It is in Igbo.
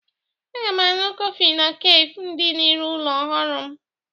Aga m aṅụ kọfị na kafe dị n'iru ụlọ ọrụ m.